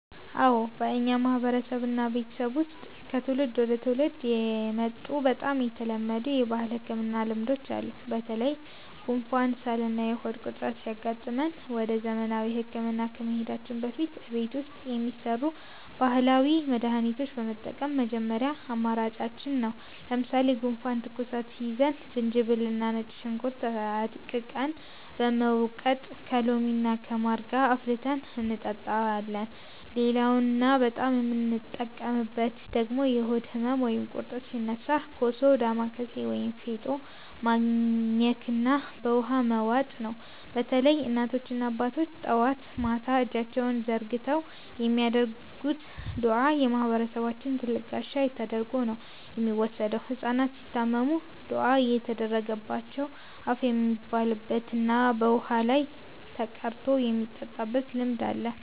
አዎ፣ በእኛ ማህበረሰብና ቤተሰብ ውስጥ ከትውልድ ወደ ትውልድ የመጡ በጣም የተለመዱ የባህል ህክምና ልማዶች አሉ። በተለይ ጉንፋን፣ ሳልና የሆድ ቁርጠት ሲያጋጥመን ወደ ዘመናዊ ህክምና ከመሄዳችን በፊት እቤት ውስጥ የሚሰሩ ባህላዊ መድሃኒቶችን መጠቀም የመጀመሪያ አማራጫችን ነው። ለምሳሌ ጉንፋንና ትኩሳት ሲይዘን ዝንጅብልና ነጭ ሽንኩርት አድቅቀን በመውቀጥ ከሎሚና ከማር ጋር አፍልተን እንጠጣለን። ሌላውና በጣም የምንጠቀምበት ደግሞ የሆድ ህመም ወይም ቁርጠት ሲነሳ ኮሶ፣ ዳማከሴ ወይም ፌጦ ማኘክና በውሃ መዋጥ ነው። በተለይም እናቶችና አባቶች ጠዋትና ማታ እጃቸውን ዘርግተው የሚያደርጉት ዱዓ የማህበረሰባችን ትልቅ ጋሻ ተደርጎ ነው የሚወሰደው። ህጻናት ሲታመሙም ዱዓ እየተደረገባቸው እፍ የሚባልበትና በውሃ ላይ ተቀርቶ የሚጠጣበት ልማድ አለ።